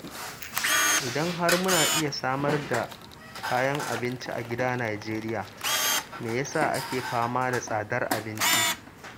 Idan har muna iya samar da kayan abinci a gida Najeriya me ya sa ake fama da tsadar abinci.